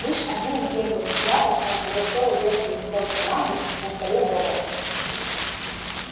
лишь одним беглым взглядом он удостоил верхний листок бумаги на столе богарта